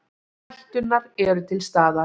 Hætturnar eru til staðar.